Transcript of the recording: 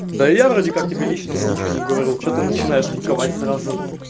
да я вроде как тебе личного ничего не говорил что ты начинаешь быковать сразу